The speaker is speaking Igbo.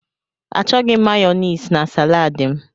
Achọghị m Mayonezi na salad m.